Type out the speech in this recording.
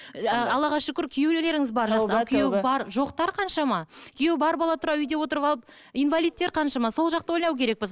алла шүкір күйеулеріңіз бар бар жоқтар қаншама күйеуі бар бола тұра үйде отырып алып инвалидтер қаншама сол жақты ойлау керекпіз